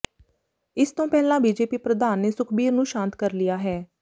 ਇਸ ਤੋਂ ਪਹਿਲਾਂ ਬੀਜੇਪੀ ਪ੍ਰਧਾਨ ਨੇ ਸੁਖਬੀਰ ਨੂੰ ਸ਼ਾਂਤ ਕਰ ਲਿਆ ਹੈ